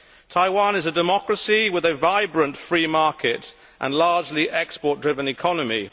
Taiwan is a democracy with a vibrant free market and a largely export driven economy.